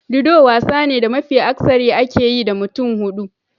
Ludo wasa ne da mafi akasari ake yi da mutum hudu.